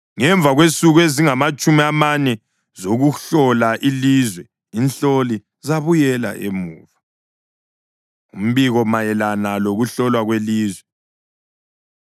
Ngemva kwensuku ezingamatshumi amane zokuhlola ilizwe inhloli zabuyela emuva. Umbiko Mayelana Lokuhlolwa Kwelizwe